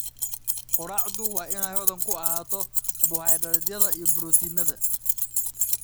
Quraacdu waa inay hodan ku ahaato karbohaydraytyada iyo borotiinnada.